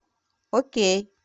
окей